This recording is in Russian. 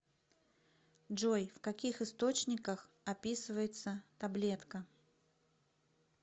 джой в каких источниках описывается таблетка